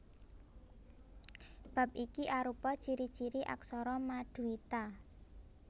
Bab iki arupa ciri ciri aksara maduita